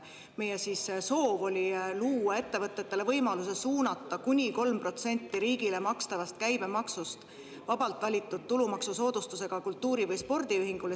Meie soov oli luua ettevõtetele võimalus suunata kuni 3% riigile makstavast käibemaksust vabalt valitud tulumaksusoodustusega kultuuri- või spordiühingule.